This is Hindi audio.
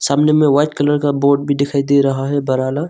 सामने में वाइट कलर का बोट भी दिखाई दे रहा है बराना--